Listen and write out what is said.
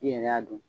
I yɛrɛ y'a dɔn